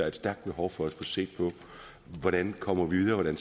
et stærkt behov for at få set på hvordan vi kommer videre hvordan